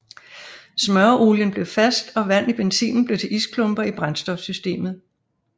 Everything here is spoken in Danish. Smøreolien blev fast og vand i benzinen blev til isklumper i brændstofsystemet